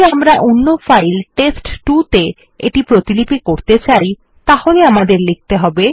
যদি আমরা অন্য ফাইল টেস্ট2 ত়ে এটি প্রতিলিপি করতে চাই তাহলে আমাদের লিখতে হবে